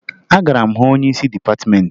Agara m hụ onyeisi dịpatịmeentị